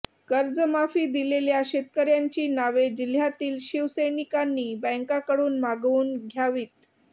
कर्जमाफी दिलेल्या शेतकऱ्यांची नावे जिल्ह्यातील शिवसैनिकांनी बँकाकडून मागवून घ्यावीत